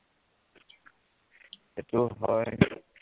সেইটোও হয়